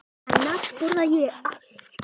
Annars borða ég allt.